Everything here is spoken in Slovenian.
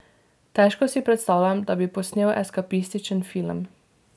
Težko si predstavljam, da bi posnel eskapističen film.